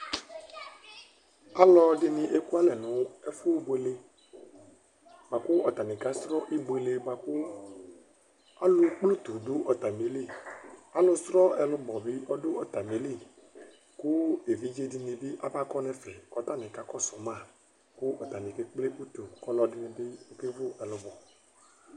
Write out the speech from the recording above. Ɔlɔdɩnɩ ekualɛ nʋ ɛfʋbuele bʋa kʋ atanɩ kasrɔ ibuele bʋa kʋ alʋkple utu dʋ atamɩli Alʋ srɔ ɛlʋbɔ bɩ ɔdʋ atamɩli kʋ evidze dɩnɩ bɩ abakɔ nʋ ɛfɛ kʋ atanɩ kakɔsʋ ma kʋ atanɩ kekple utu kʋ ɔlɔdɩnɩ bɩ kewu ɛlʋbɔ